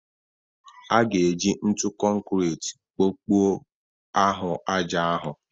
A ga-eji ntụ konkrit kpokpuo ahụ ájá ahu